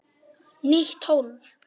Nýtt hólf.